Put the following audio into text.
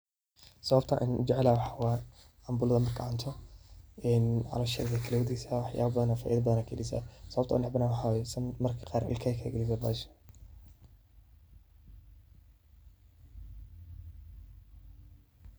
Sababta aan ujeclahay waxaa waye cambulaada markaad cunto caloosha ayaa kuu kala dageeysa faaida badan ayaa kaheleysa, sababta aan unacbahay na waxaa waye marmarka qaar ilkaha ayeey kaa galeysa.